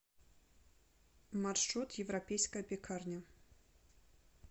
маршрут европейская пекарня